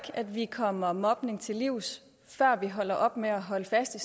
at vi kommer mobningen til livs før vi holder op med at holde fast i